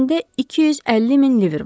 İçində 250 min liver var.